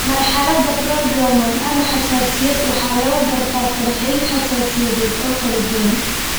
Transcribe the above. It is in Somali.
Marxaladda prodromal (ama xasaasiyad) waxaa lagu gartaa falcelin xasaasiyadeed oo kala duwan.